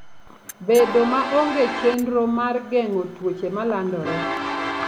Bedo maonge chenro mar geng'o tuoche malandore.